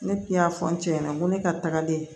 Ne tun y'a fɔ n cɛ ɲɛna n ko ne ka tagalen